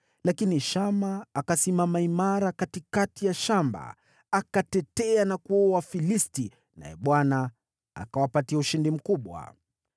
Lakini Shama akasimama imara katikati ya lile shamba. Akalitetea na kuwaua Wafilisti, naye Bwana akawapa ushindi mkubwa.